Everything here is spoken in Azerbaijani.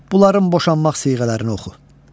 Bunların boşanmaq siğələrini oxu.